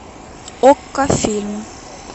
окко фильм